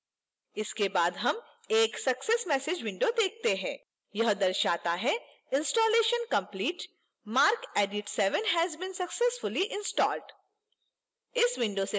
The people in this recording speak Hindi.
इसके बाद हम एक success message window देखते हैं